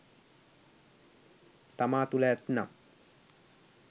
තමා තුළ ඇත්නම්